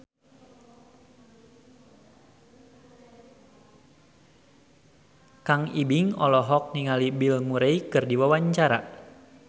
Kang Ibing olohok ningali Bill Murray keur diwawancara